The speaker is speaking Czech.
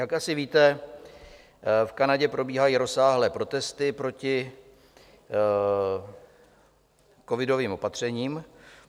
Jak asi víte, v Kanadě probíhají rozsáhlé protesty proti covidovým opatřením.